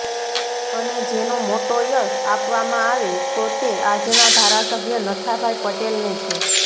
અને જેનો મોટો યસ આપવામાં આવે તો તે આજના ધારાસભ્ય નથાભાઇ પટેલ ને છે